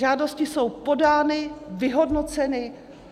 Žádosti jsou podány, vyhodnoceny.